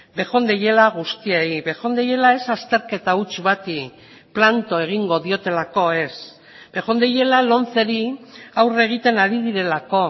bejondeiela guztiei bejondeiela ez azterketa huts bati planto egingo diotelako ez bejondeiela lomceri aurre egiten ari direlako